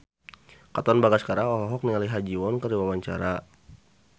Katon Bagaskara olohok ningali Ha Ji Won keur diwawancara